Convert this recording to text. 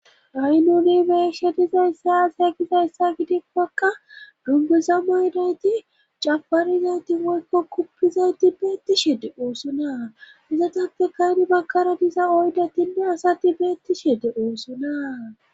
Ha'i nuni be'eshe dizayssa aaze gizayssa gidikkakka dunguza maydayti cafarizayti woykko guppizayti beettishi de'oosona izatappeka hani baggara diza oydatinne asati beettishi de'osonaa